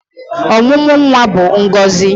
Ọmụmụ nwa bụ ngọzị